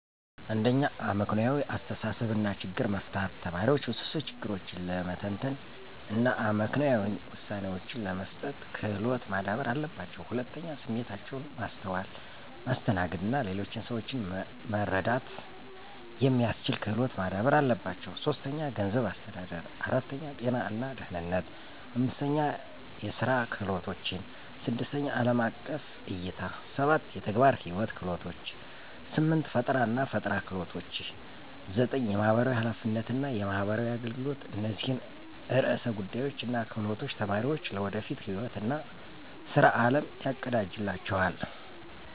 1. አመክንዮአዊ አስተሳሰብ እና ችግር መፍታት ተማሪዎች ውስብስብ ችግሮችን ለመተንተን እና አመክንዮአዊ ውሳኔዎችን ለመስጠት ክሎት ማዳበር አለባቸው። 2. ስሜታቸውን ማስተዋል፣ ማስተናገድ እና ሌሎችን ሰዎች መረዳት የሚስችል ክሎት ማዳበር አለባቸው። 3. ገንዘብ አስተዳደር 4. ጤና እና ደህነነት 5. የስራ ክህሎቶችን 6. አለም አቀፍ እይታ 7. የተግባር ህይዎት ክህሎቶች 8. ፈጠራናፈጠራ ክህሎች 9. የማህበራዊ ሐላፊነት እና የማህበራዊ አገልገሎት እነዚህን ዕርሰ ጉዳዮች እና ክህሎቶች ተማሪዎች ለወደፊት ህይዎት እና ስራ አለም ያቀዳጅላቸዋል።